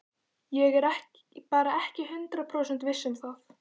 Ég er bara ekki hundrað prósent viss um það.